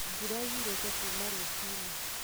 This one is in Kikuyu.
Mbura yurĩte kuuma rũcinĩ